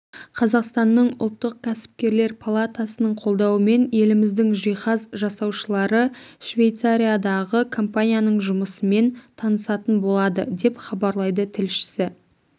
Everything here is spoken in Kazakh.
қазақстанның ұлттық кәсіпкерлер палатасының қолдауымен еліміздің жиһаз жасаушылары швейцариядағы компаниясының жұмысымен танысатын болады деп хабарлайды тілшісі